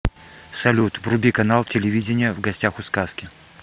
салют вруби канал телевидения в гостях у сказки